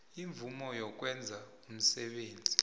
imvumo yokwenza umsebenzi